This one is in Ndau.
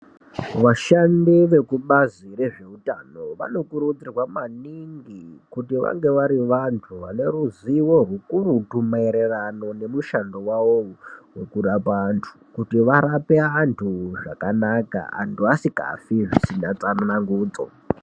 Vashandi vekubazi rezvehutano vanokurudzirwa maningi kuti vange vari vantu vane ruzivo ukurutu maererano nemushando wavo uyu wekurapa antu kuti varapwe vantu zvakanaka vantu vasingafi zvisina tsanangudzo.